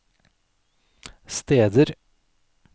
steder